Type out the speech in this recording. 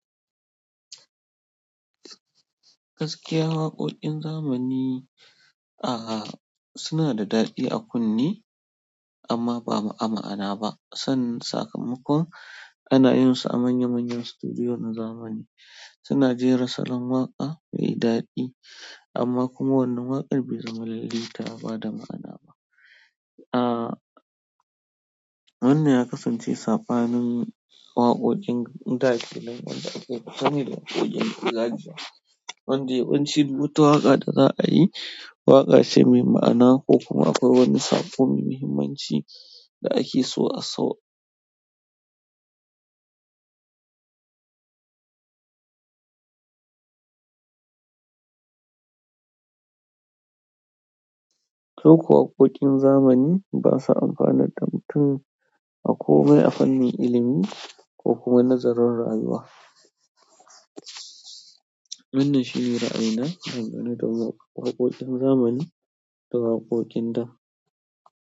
Gaskiya waƙoƙin zamani aah su na da daɗi a kunne amma ba ma'ana ba. San sakamakon ana yin su a manya manyan sutudiyo na zamani. Suna jera salon waƙa mai daɗi amma kuma wannan waƙar bai zama lalle ta bada ma'ana ba. Ah, wannan ya kasance sabanin waƙoƙin ɗa wanda da aka fi sani da waƙoƙin gargajiya wanda yawanci rubuta waƙa da za a yi, waƙa ce mai ma'ana ko kuma akwai wani sabon muhimmanci da ake so a sau. Ko waƙoƙin zamani basa amfana da mutum a komai a fannin ilimi ko kuma nazarin rayuwa. Wannan shine ra'ayina dangane da waƙoƙin zamani da waƙoƙin ɗa.